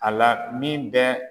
A la min bɛɛ